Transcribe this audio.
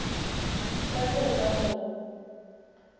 ka ge o ka no